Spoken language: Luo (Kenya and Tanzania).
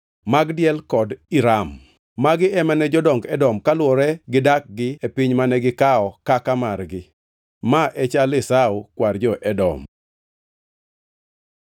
Magdiel kod Iram. Magi ema ne jodong Edom, kaluwore gi dakgi e piny mane gikawo kaka margi. Ma e chal Esau, kwar jo-Edom.